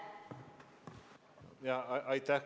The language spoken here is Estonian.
Aitäh!